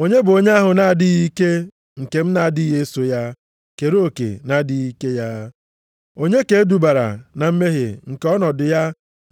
Onye bụ onye ahụ na-adịghị ike nke m na-adịghị eso ya kere oke na-adịghị ike ya? Onye ka e dubara na mmehie nke ọnọdụ ya